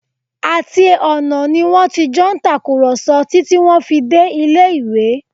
Àti ọ̀nà ni wọ́n ti jọ ń tàkùrọ̀sọ títí tí wọ́n fi dé ilé-ìwé